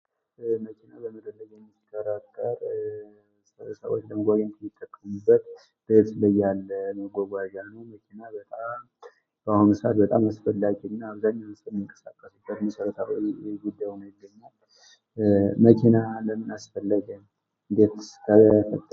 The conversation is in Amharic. መኪና በመፈለግ የምትጠራጠርም ጎበዜን የሚጠቀሙበት ስለ ያለው የመጓጓዣ ነው ሰአት በጣም አስፈላጊ እና በምንቀሳቀስበት መሰረታዊ የኢትዮጵያ መኪና ለምን አስፈለገ?